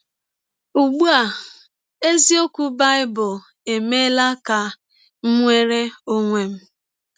Ụgbụ a, eziọkwụ Baịbụl emeela ka m nwere ọnwe m! ”